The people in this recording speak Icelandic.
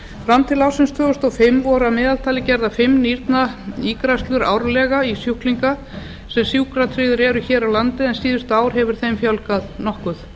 fram til ársins tvö þúsund og fimm voru að meðaltali gerðar fimm nýrnaígræðslur árlega í sjúklinga sem sjúkratryggðir eru hér á landi en síðustu ár hefur þeim fjölgað nokkuð